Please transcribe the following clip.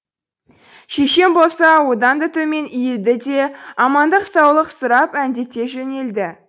шешем болса одан да төмен иілді де амандық саулық сұрап әндете жөнелді